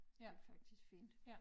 Det faktisk fint